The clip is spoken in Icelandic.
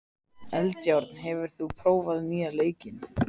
Eldjárn, hefur þú prófað nýja leikinn?